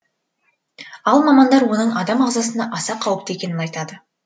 ал мамандар оның адам ағзасына аса қауіпті екенін айтады